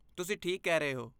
ਤੁਸੀਂ ਠੀਕ ਕਹਿ ਰਹੇ ਹੋ।